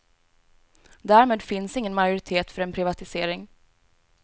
Därmed finns ingen majoritet för en privatisering.